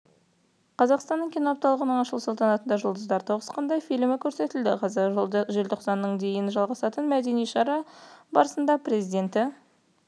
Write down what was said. қазақстанның киносы апталығының ашылу салтанатында жұлдыздар тоғысқанда фильмі көрсетілді желтоқсанның дейін жалғасатын мәдени шара барысында президенті